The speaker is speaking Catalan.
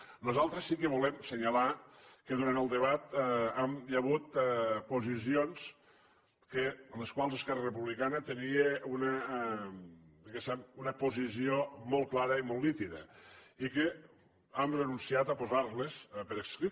nosaltres sí que volem assenyalar que durant el debat hi ha hagut posicions en les quals esquerra republicana tenia diguéssim una posició molt clara i molt nítida i que hem renunciat a posar les per escrit